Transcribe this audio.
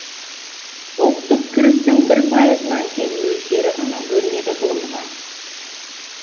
ұлттық кірістің бір пайызынан кем мөлшері ғана бөлінеді ғылымға